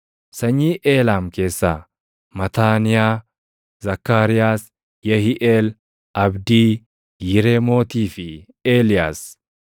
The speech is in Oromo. Sanyii Eelaam keessaa: Mataaniyaa, Zakkaariyaas, Yehiiʼeel, Abdii, Yireemootii fi Eeliyaas.